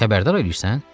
Xəbərdar eləyirsən?